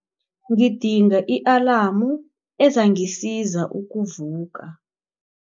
Ngidinga i-alamu ezangisiza ukuvuka.